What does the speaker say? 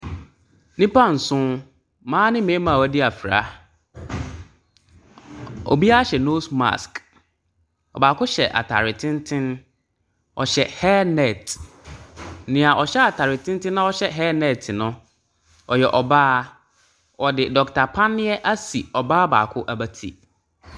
Nnipa nson, mmaa mmarima a wɔadi afra. Obiara hyɛ nose mask. Ɔbaako hyɛ atare tenten. Ɔhyɛ hair net. Nea ɔhyɛ atare tenten na ɔhyɛ hair net no, ɔyɛ ɔbaa. Ɔde doctor panneɛ asi ɔbaa baako abati.